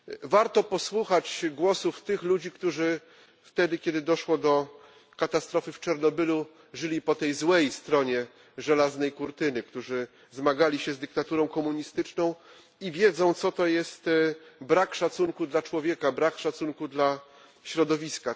Warto posłuchać głosu tych ludzi, którzy wtedy, kiedy doszło do katastrofy w Czarnobylu, żyli po tej złej stronie żelaznej kurtyny, którzy zmagali się z dyktaturą komunistyczną i wiedzą, co to jest brak szacunku dla człowieka, brak szacunku dla środowiska.